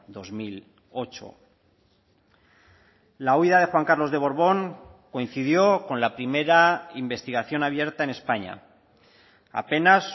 dos mil ocho la huida de juan carlos de borbón coincidió con la primera investigación abierta en españa apenas